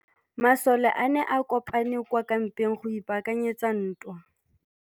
Masole a ne a kopane kwa kampeng go ipaakanyetsa ntwa.